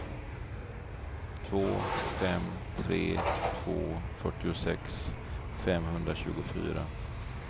två fem tre två fyrtiosex femhundratjugofyra